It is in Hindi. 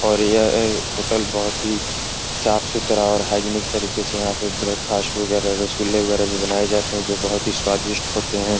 और यह होटल बहुत ही साफ सुथरा और हाइजानिक तरीके से यहां पर ब्रेकफास्ट वगैरह रसगुल्ला वगैरा भी बनाए जाते है जो बहुत ही स्वादिष्ट होते है।